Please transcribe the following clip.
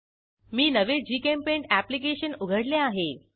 मी नवे GChemPaint application उघडले आहे